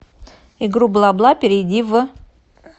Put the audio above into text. игру бла бла перейди в